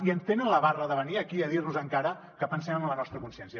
i tenen la barra de venir aquí a dir nos encara que pensem amb la nostra consciència